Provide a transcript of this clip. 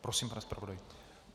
Prosím, pane zpravodaji.